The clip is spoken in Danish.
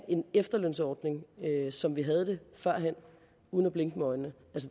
en efterlønsordning som vi havde det førhen uden at blinke med øjnene